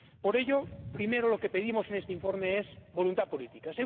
Por ello, primero lo que pedimos en este informe es voluntad política